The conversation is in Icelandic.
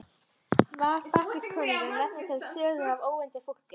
Var Bakkus konungur nefndur til sögu af óvönduðu fólki.